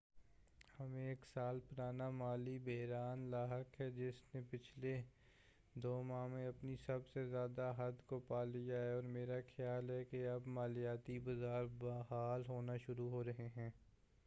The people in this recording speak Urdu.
ہمیں ایک سال پرانا مالی بحران لاحق ہے جس نے پچھلے دو ماہ میں اپنی سب سے زیادہ حد کو پالیا ہے اور میرا خیال ہے کہ اب مالیاتی بازار بحال ہونا شروع ہورہے ہیں